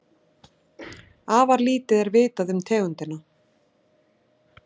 Afar lítið er vitað um tegundina.